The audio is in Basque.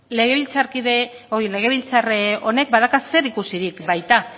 legebiltzar honek badauka zerikusirik baita